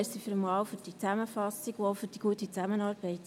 Vielen Dank für diese Zusammenfassung und auch für die gute Zusammenarbeit.